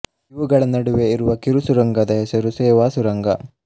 ಇವುಗಳ ನಡುವೆ ಇರುವ ಕಿರು ಸುರಂಗದ ಹೆಸರು ಸೇವಾ ಸುರಂಗ